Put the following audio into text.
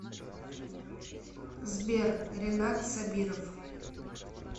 сбер ренат собиров